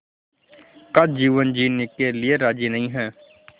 का जीवन जीने के लिए राज़ी नहीं हैं